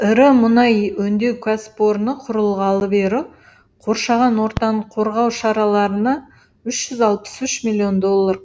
ірі мұнай өңдеу кәсіпорны құрылғалы бері қоршаған ортаны қорғау шараларына үш жүз алпыс үш миллион доллар